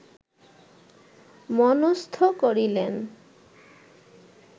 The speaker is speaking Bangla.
মনস্থ করিলেন